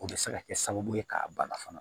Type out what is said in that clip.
O bɛ se ka kɛ sababu ye k'a bana fana